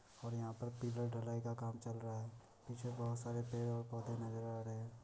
और यहाँ पर पिलर ढलाई का काम चल रहा है। पीछे बोहत सारे पेड़ और पौधे नज़र आ रहे हैं।